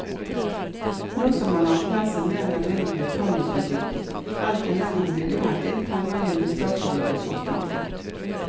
Nå som man har erklært seg mer eller mindre betalingsudyktig, er det ikke lenger mulig å hente inn penger gjennom statsobligasjonsmarkedet.